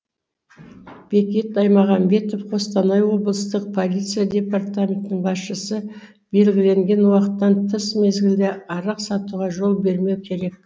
бекет аймағамбетов қостанай облыстық полиция департаментінің басшысы белгіленген уақыттан тыс мезгілде арақ сатуға жол бермеу керек